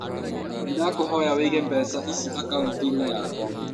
Nĩ ndakũhoya ũige mbeca ici akaũnti-inĩ yakwa.